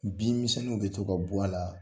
Bin misɛnninw be to ka bɔ a la